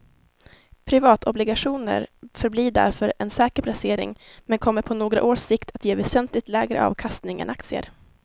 Privatobligationer förblir därför en säker placering men kommer på några års sikt att ge väsentligt lägre avkastning än aktier.